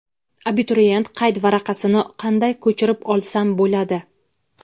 abituriyent qayd varaqasini qanday ko‘chirib olsam bo‘ladi?.